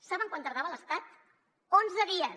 saben quant tardava l’estat onze dies